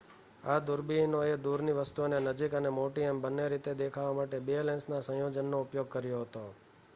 આ દૂરબીનોએ દૂરની વસ્તુઓને નજીક અને મોટી એમ બંને રીતે દેખાવા માટે 2 લેન્સના સંયોજનનો ઉપયોગ કર્યો હતો